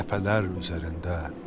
Ləpələr üzərində.